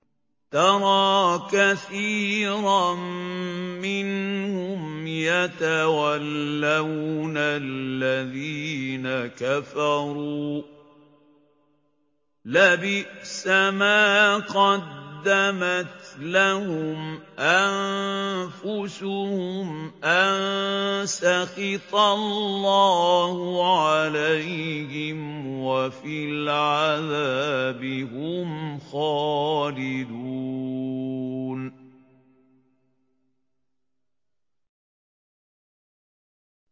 تَرَىٰ كَثِيرًا مِّنْهُمْ يَتَوَلَّوْنَ الَّذِينَ كَفَرُوا ۚ لَبِئْسَ مَا قَدَّمَتْ لَهُمْ أَنفُسُهُمْ أَن سَخِطَ اللَّهُ عَلَيْهِمْ وَفِي الْعَذَابِ هُمْ خَالِدُونَ